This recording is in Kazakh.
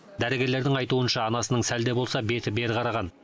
дәрігерлердің айтуынша анасының сәл де болса беті бері қараған